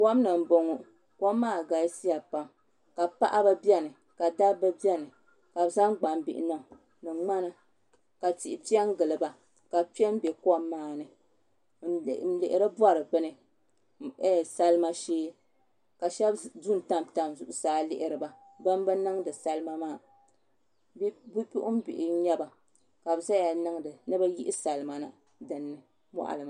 Kom ni n boŋo kom maa galisiya pam ka paɣaba biɛni ka dabba biɛni ka bi zaŋ gbambihi niŋ ni ŋmana ka tihi piɛ n giliba ka kpɛ n bɛ kom maa ni n lihiri bori salima shee ka shab ʒɛ n tabi tabi zuɣusaa n lihiri ba ban bi niŋdi salima maa bipuɣunbihi n nyɛba ka bi ʒɛya ni bi yihi salima na dinni